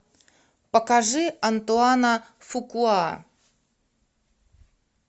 покажи антуана фукуа